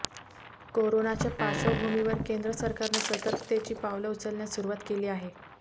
कोरोनाच्या पार्श्वभूमीवर केंद्र सरकारनं सतर्कतेची पावलं उचलण्यास सुरुवात केली आहे